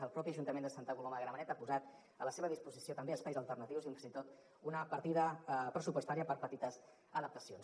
el propi ajuntament de santa coloma de gramenet ha posat a la seva disposició també espais alternatius i fins i tot una partida pressupostària per petites adaptacions